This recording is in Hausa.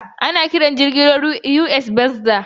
Ana kiran jirgin ruwan USS Boxer.